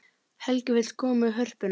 Helgi vill koma í Hörpuna